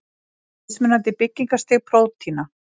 Mismunandi byggingarstig prótína.